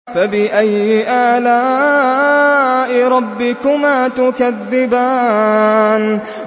فَبِأَيِّ آلَاءِ رَبِّكُمَا تُكَذِّبَانِ